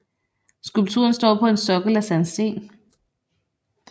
Skulpturen står på en sokkel af sandsten